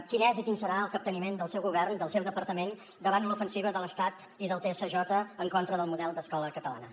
quin és i quin serà el capteniment del seu govern del seu departament davant l’ofensiva de l’estat i del tsj en contra del model d’escola catalana